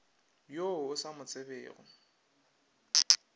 yo o sa mo tsebego